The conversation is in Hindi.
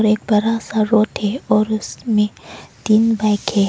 एक बड़ा सा रोड है और उसमें तीन बाइके--